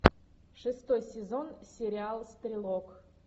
шестой сезон сериал стрелок